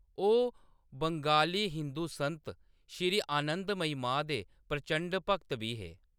ओह्‌‌ बंगाली हिंदू संत श्री आनंदमयी मां दे 'प्रचंड भक्त' बी हे।